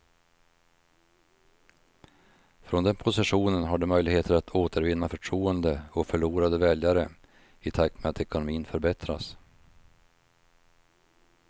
Från den positionen har de möjligheter att återvinna förtroende och förlorade väljare i takt med att ekonomin förbättras.